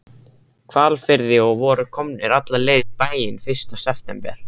Hvalfirði og voru komnir alla leið í bæinn fyrsta september.